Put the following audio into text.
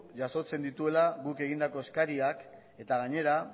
jasotzen dituela guk egindako eskariak eta gainera